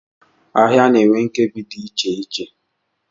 Ahịa na-enwe nkebi dị iche iche.